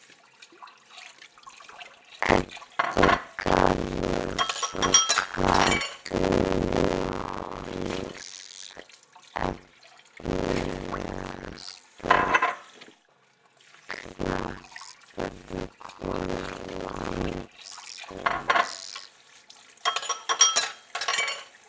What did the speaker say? Edda Garðars og Katrín Jóns Efnilegasta knattspyrnukona landsins?